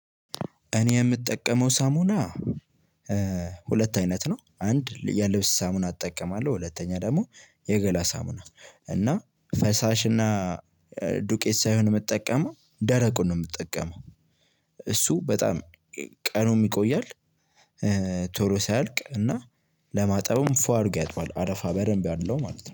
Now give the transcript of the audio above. እኔ የምጠቀመው ሳሙና ሁለት አይነት ነው። አንድ የልብስ ሳሙና እጠቀማለሁ። ሁለተኛ ደግሞ የገላ ሳሙና እና ፈሳሽ እና ዱቄት ሳይሆን የምጠቀመው ደረቁን ነው። የምትጠቀመው እሱ በጣም ቀኑም ይቆያል። ቶሎ ሳያልቅ እና ለማጠብም ፏ አድርጎ ያጥባል አረፋ በደንብ አለው ማለት ነው